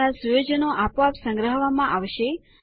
તમારી સુયોજનો આપોઆપ સંગ્રહવામાં આવશે